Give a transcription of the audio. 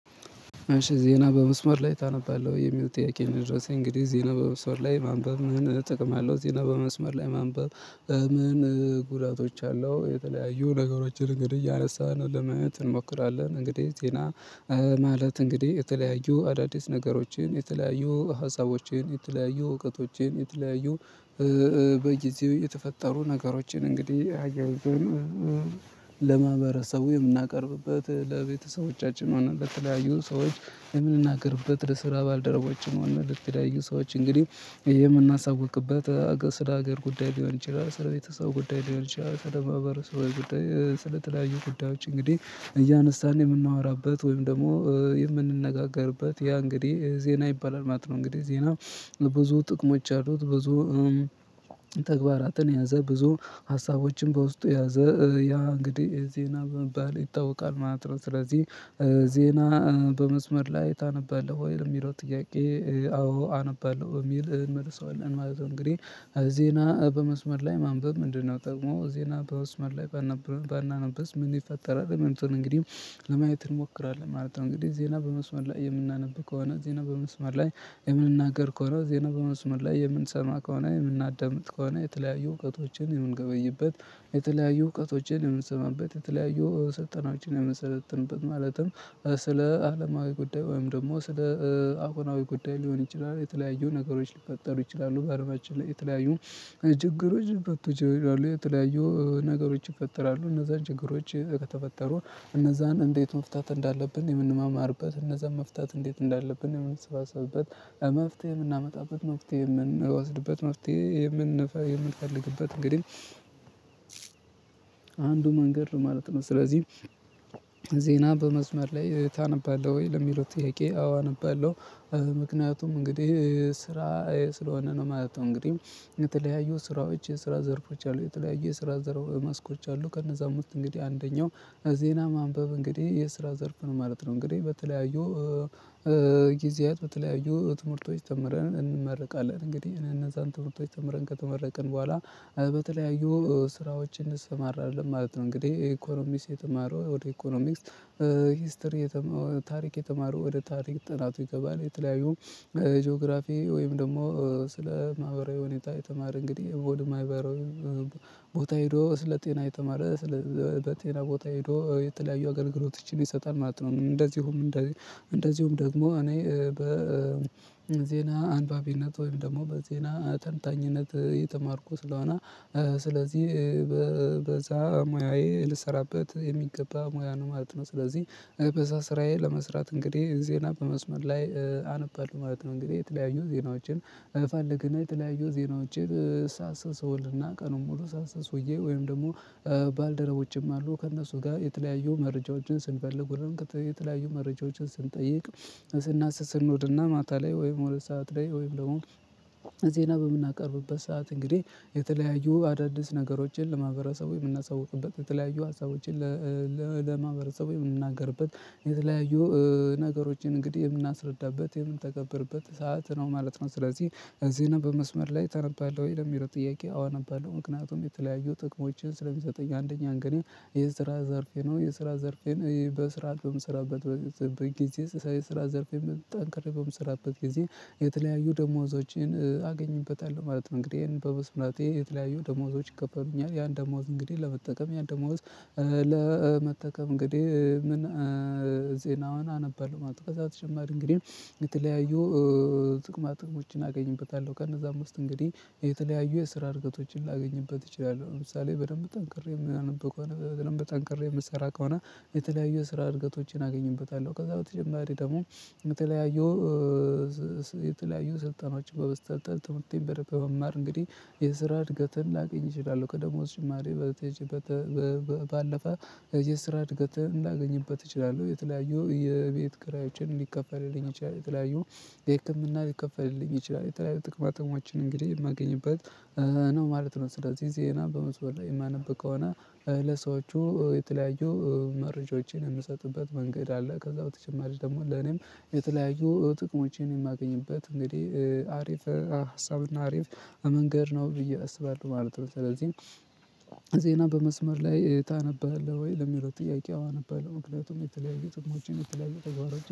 እሺ ዜና በመስመር ላይ ታነባለህ ወይ የሚለው ጥያቄ ነው? የደረሰኝ እንግዲህ ዜና በመስመር ላይ ማንበብ ምን ጥቅም አለው? ዜና በመስመር ላይ ማንበብ? ምን ጉዳቶች አለው የተለያዩ ነገሮችን እንግዲህ እያነሳን ለማየት እንሞክራለን። እንግዲህ ዜና ማለት እንግዲህ የተለያዩ አዳዲስ ነገሮችን የተለያዩ ሀሳቦችን የተለያዩ እውቀቶችን የተለያዩ በጊዜው የተፈጠሩ ነገሮችን እንግዲህ አያይዘን ለማህበረሰቡ የምናቀርብበት ለቤተሰቦቻችን እና ለተለያዩ ሰዎች የምንናገርበት ለስራ ባልደረቦችን ሆነ ለተለያዩ ሰዎች እንግዲህ የምናሳውቅበት ስለ ሀገር ጉዳይ ሊሆን ይችላል ስለ ቤተሰብ ጉዳይ ሊሆን ይችላል ስለ ማህበረሰባዊ ጉዳይ ስለተለያዪ ጉዳዮች እንግዲህ እያነሳን የምናወራበት ወይም ደግሞ የምንነጋገርበት ያ እንግዲህ ዜና ይባላል ማለት ነው። እንግዲህ ዜና ብዙ ጥቅሞች ያሉት ብዙ ተግባራትን የያዘ ብዙ ሀሳቦችን በውስጡ የያዘ ያ እንግዲህ ዜና በመባል ይታወቃል ማለት ነው። ስለዚህ ዜና በመስመር ላይ ታነባለህ ወይ የሚለው ጥያቄ አዎ አነባለሁ በሚል እንመልሰዋለን ማለት ነው። እንግዲህ ዜና በመስመር ላይ ማንበብ ምንድነው? ጥቅሙ ዜና በመስመር ላይ ባናነብስ ምን ይፈጠራል? የሚሉትን እንግዲህ ለማየት እንሞክራለን ማለት ነው። እንግዲህ ዜና በመስመር ላይ የምናነብ ከሆነ ዜና በመስመር ላይ የምንናገር ከሆነ ዜና በመስመር ላይ የምንሰማ ከሆነ የምናዳምጥ ከሆነ የተለያዩ እውቀቶችን የምንገበይበት የተለያዩ እውቀቶችን የምንሰማበት የተለያዩ ሰልጣኖችን የምንሰለጥንበት ማለትም ስለ አለማዊ ጉዳይ ወይም ደግሞ ስለ አሁናዊ ጉዳይ ሊሆን ይችላል የተለያዩ ነገሮች ሊፈጠሩ ይችላሉ በአድማጭ ላይ የተለያዩ ችግሮች ሊፈቱ ይችላሉ። የተለያዩ ነገሮች ይፈጥራሉ እነዛን ችግሮች ከተፈጠሩ እነዛን እንዴት መፍታት እንዳለብን የምንማማርበት እነዛን መፍታት እንዴት እንዳለብን የምንሰባሰብበት መፍትሄ የምናመጣበት መፍትሄ የምንወስድበት መፍትሄ የምንፈልግበት እንግዲህ አንዱ መንገድ ማለት ነው። ስለዚህ ዜና በመስመር ላይ ታነባለህ ወይ ለሚለው ጥያቄ? አዎ አነባለሁ። ምክንያቱም እንግዲህ ስራ ስለሆነ ነው ማለት ነው። እንግዲህ የተለያዩ ስራዎች የስራ ዘርፎች አሉ የተለያዩ የስራ ዘርፎች መስኮች አሉ ከነዛም ውስጥ እንግዲህ አንደኛው ዜና ማንበብ እንግዲህ የስራ ዘርፍ ነው ማለት ነው። እንግዲህ በተለያዩ ጊዜያት በተለያዩ ትምህርቶች ተምረን እንመርቃለን እንግዲህ እነዛን ትምህርቶች ተምረን ከተመረቅን በኋላ በተለያዩ ስራዎች እንሰማራለን ማለት ነው። እንግዲህ ኢኮኖሚክስ የተማረው ወደ ኢኮኖሚክስ ሂስትሪ ታሪክ የተማረው ወደ ታሪክ ጥናቱ ይገባል የተለያዩ ጂኦግራፊ ወይም ደግሞ ስለ ማህበራዊ ሁኔታ የተማረ እንግዲህ ወደ ማህበራዊ ቦታ ሄዶ ስለ ጤና የተማረ ስለ በጤና ቦታ ሄዶ የተለያዩ አገልግሎቶችን ይሰጣል ማለት ነው። እንደዚሁም እንደዚሁም ደግሞ እኔ በዜና አንባቢነት ወይም ደግሞ በዜና ተንታኝነት የተማርኩ ስለሆነ ስለዚህ በዛ ሙያዬ ልሰራበት የሚገባ ሙያ ነው ማለት ነው። ስለዚህ በዛ ስራዬ ለመስራት እንግዲህ ዜና በመስመር ላይ አነባለሁ ማለት ነው። እንግዲህ የተለያዩ ዜናዎችን እፈልግና የተለያዩ ዜናዎችን ሳስል ቀኑን ሙሉ ሳስስ ውዬ ወይም ደግሞ ባልደረቦቼም አሉ ከእነሱ ጋር የተለያየ መረጃዎችን ስንፈልግ ውለን የተለያዩ መረጃዎችን ስንጠይቅ ስናስስ እንውልና ማታ ላይ ወይም ሁለት ሰዓት ላይ ወይም ደግሞ ዜና በምናቀርብበት ሰዓት እንግዲህ የተለያዩ አዳዲስ ነገሮችን ለማህበረሰቡ የምናሳውቅበት የተለያዩ ሀሳቦችን ለማህበረሰቡ የምንናገርበት የተለያዩ ነገሮችን እንግዲህ የምናስረዳበት የምንተገብርበት ሰዓት ነው ማለት ነው። ስለዚህ ዜና በመስመር ላይ ተነባለሁ ወይ ለሚለው ጥያቄ? አዎ አነባለሁ። ምክንያቱም የተለያዩ ጥቅሞችን ስለሚሰጠኝ አንደኛ እንግዲህ የስራ ዘርፌ ነው የስራ ዘርፌን በስራ በምስራበት በጊዜ ስራ ዘርፌን በጠንክሬ በምስራበት ጊዜ የተለያዩ ደሞዞችን አገኝበታለሁ ማለት ነው። እንግዲህ በመስራቴ የተለያዩ ደሞዞች ይከፈሉኛል ያን ደሞዝ እንግዲህ ለመጠቀም ያንደሞዝ ለመጠቀም እንግዲህ ምን ዜናዋን አነባለሁ ማለት ነው። ከዛ በተጨማሪ እንግዲህ የተለያዩ ጥቅማ ጥቅሞችን አገኝበታለሁ። ከነዛም ውስጥ እንግዲህ የተለያዩ የስራ እድገቶችን ላገኝበት እችላለሁ። ለምሳሌ በደንብ ጠንክሬ ማነብ ከሆነ በደንብ ጠንክሬ የምሰራ ከሆነ የተለያዩ የስራ እርገቶችን አገኝበታለሁ። ከዛ በተጀማሪ ደግሞ የተለያዩ የተለያዩ ስልጠናችን በመሰልጠን ትምህርቴን በመማር እንግዲህ የስራ እድገትን ላገኝ እችላለሁ። ከደሞዝ ጭማሪ በተቻለ ባለፈ የስራ እድገት እንዳገኝበት እችላለሁ። የተለያዩ የቤት ክራዮችን ሊከፈልልኝ ይችላል የተለያዩ የህክምና ሊከፈልልኝ ይችላል የተለያዩ ጥቅማጥቅሞችን እንግዲህ የማገኝበት ነው ማለት ነው። ስለዚህ ዜና በመስመር ላይ የማነብ ከሆተ ለሰዎቹ የተለያዩ መረጃዎችን የምሰጥበት መንገድ አለ። ከዛ በተጨማሪ ደግሞ ለኔም የተለያዩ ጥቅሞቼን የማገኝበት እንግዲህ አሪፍ ሀሳብና አሪፍ መንገድ ነው ብዬ አስባለሁ ማለት ነው። ስለዚህ ዜና በመስመር ላይ ታነባለህ ወይ ለሚለው ጥያቄ አዎ አነባለሁ ምክንያቱም የተለያየ ጥቅሞቼን የተለያየ ተግባራችን